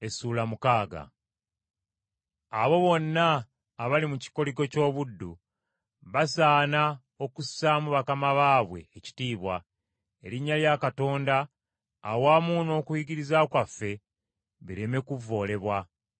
Abo bonna abali mu kikoligo ky’obuddu, basaana okussaamu bakama baabwe ekitiibwa, erinnya lya Katonda, awamu n’okuyigiriza kwaffe bireme kuvvoolebwa.